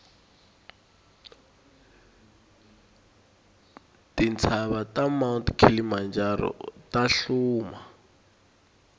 tintsava ta mount kilimanjaro tahluma